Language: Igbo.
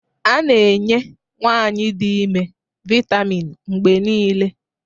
A na-enye nwanyị dị ime vitamin mgbe niile